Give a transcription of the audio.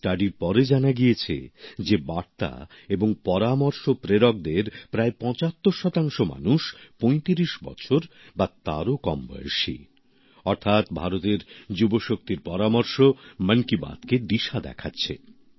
সমীক্ষার পরে জানা গিয়েছে যে বার্তা এবং পরামর্শ প্রেরকদের প্রায় ৭৫ মানুষ ৩৫ বছর বা তারো কম বয়সী অর্থাৎ ভারতের যুবশক্তির পরামর্শ মন কি বাত কে দিশা দেখাচ্ছে